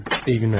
İyi günler.